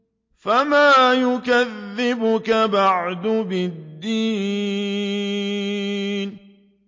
فَمَا يُكَذِّبُكَ بَعْدُ بِالدِّينِ